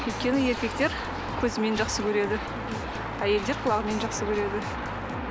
өйткені еркектер көзімен жақсы көреді әйелдер құлағымен жақсы көреді